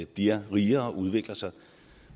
bliver rigere og udvikler sig